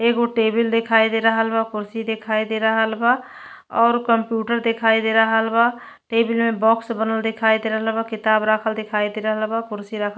एगो टेबिल देखाई दे रहल बा। कुर्सी देखाई दे रहल बा और कंप्यूटर देखाई दे रहल बा। टेबिल मे बॉक्स बनल देखाई दे रहल बा। किताब राखल देखाई दे रहल बा। कुर्सी राख --